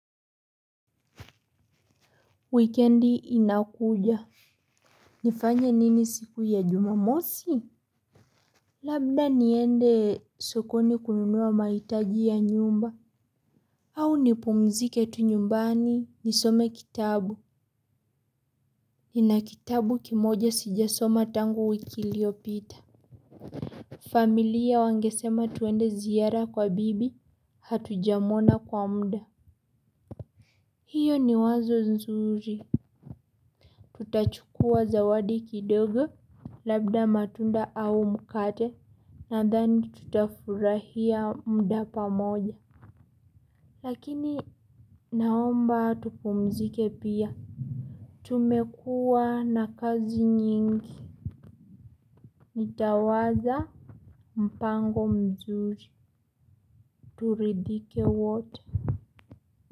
Wikendi inakuja. Nifanye nini siku ya jumamosi? Labda niende sokoni kununua mahitaji ya nyumba. Au nipumzike tu nyumbani nisome kitabu. Nina kitabu kimoja sijasoma tangu wiki iliyopita. Familia wangesema twende ziara kwa bibi hatujamwona kwa muda. Hiyo ni wazo nzuri. Tutachukua zawadi kidogo. Labda matunda au mkate. Nadhani tutafurahia muda pamoja. Lakini naomba tupumzike pia. Tumekuwa na kazi nyingi. Nitawaza mpango mzuri turidhike wote.